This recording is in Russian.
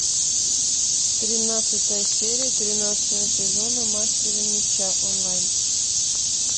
тринадцатая серия тринадцатого сезона мастера меча онлайн